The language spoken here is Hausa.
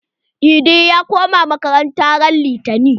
Idi ya koma makaranta ran litani.